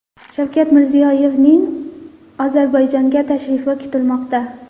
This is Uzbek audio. Shavkat Mirziyoyevning Ozarbayjonga tashrifi kutilmoqda.